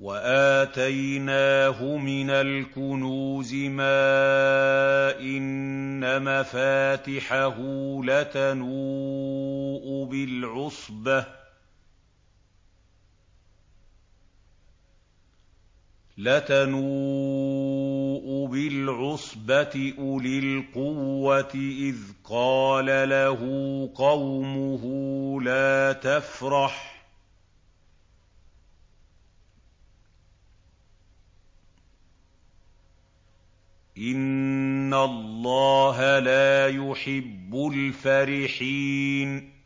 وَآتَيْنَاهُ مِنَ الْكُنُوزِ مَا إِنَّ مَفَاتِحَهُ لَتَنُوءُ بِالْعُصْبَةِ أُولِي الْقُوَّةِ إِذْ قَالَ لَهُ قَوْمُهُ لَا تَفْرَحْ ۖ إِنَّ اللَّهَ لَا يُحِبُّ الْفَرِحِينَ